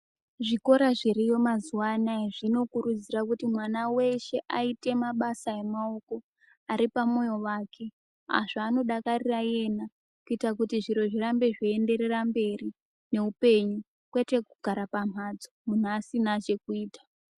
Zvikora zviriyo mazuwanaya zvinokurudzira kuti mwana weshe aite mabasa emaoko aripa mwoyo wake, zvaamodakarira iyena kuitira kuti zviro zvirambe zveienderera mberi neupenyu panekugara pamhatso muntu asina zvekuita.